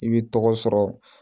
I bi tɔgɔ sɔrɔ